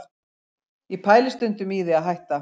Ég pæli stundum í því að hætta